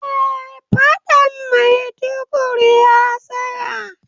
Eh faɗan Maiduguri ya tsaya